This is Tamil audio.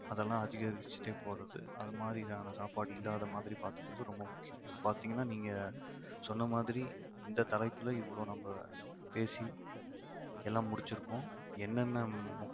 அதெல்லாம் அதிகரிச்சுட்டே போறது அது மாதிரியான சாப்பாடு இல்லாத மாதிரி பார்த்துக்கிறது ரொம்ப முக்கியம் பாத்தீங்கன்னா நீங்க சொன்ன மாதிரி இந்த தலைப்பில இவ்வளவு நம்ம பேசி எல்லாம் முடிச்சிருக்கோம் என்னென்ன